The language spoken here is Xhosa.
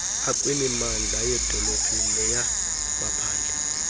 akwimimandla yeedolophu neyamaphandle